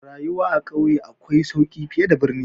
Rayuwa a ƙauye akwai sauki fiye da birni.